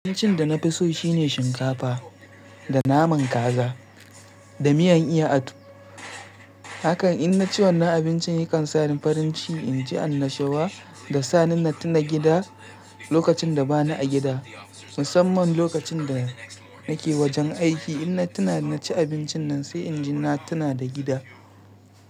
Abincin da na fi so shine shinkafa da naman kaza da miyan iya atu. Haka ina ci wannan abincin yakan sa ni farin shi inji an nashi wa da sa ni na tuna gida lokacin da ba ni a gida. Musamman lokacin da nake wajen aiki ina tuna ina ci abincin nan sai inji na tuna da gida.